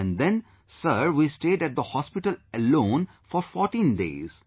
And then Sir, we stayed at the Hospital alone for 14 days